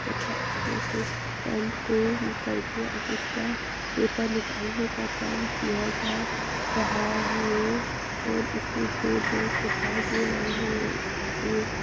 तथा इसमे से पेंट को निकाल के आप उसका पेपर निकाल ने का काम किया जा रहा है। और इसमे दो जैंट्स दिखाई दे रहे है। ये--